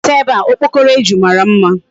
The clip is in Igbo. Bata ebe a! Okpokoro eju mara mma.